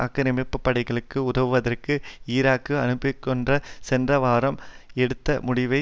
ஆக்கிரமிப்பு படைகளுக்கு உதவுவதற்காக ஈராக்கிற்கு அனுப்புவதென்ற சென்ற வாரம் எடுத்த முடிவை